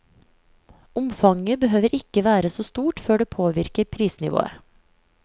Omfanget behøver ikke være så stort før det påvirker prisnivået.